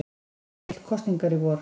Hann vill kosningar í vor